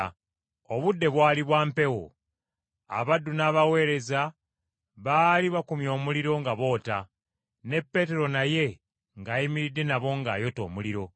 Obudde bwali bwa mpewo, abaddu n’abaweereza baali bakumye omuliro nga boota, ne Peetero naye ng’ayimiridde nabo ng’ayota omuliro.